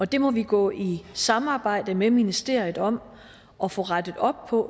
det må vi gå i samarbejde med ministeriet om at få rettet op på